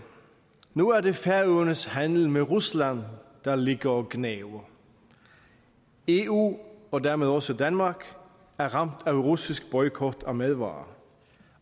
nu er det færøernes handel med rusland der ligger og gnaver eu og dermed også danmark er ramt af russisk boykot af madvarer